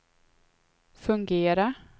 fungera